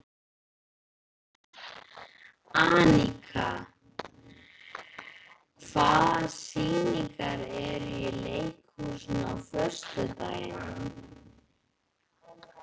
Anika, hvaða sýningar eru í leikhúsinu á föstudaginn?